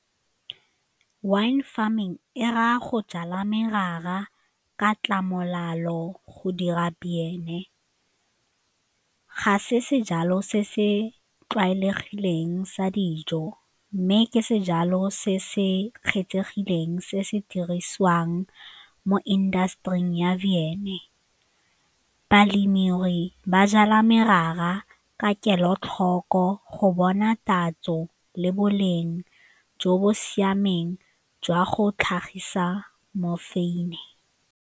Wine farming e raya go jala merara ka go dira beine, ga se se jalo se se tlwaelegileng sa dijo mme ke sejalo se se kgethegileng se se dirisiwang mo industry-ing ya jeme. Balemirui ba jala merara ka kelotlhoko go bona tatso le boleng jo bo siameng jwa go tlhagisa mofeine.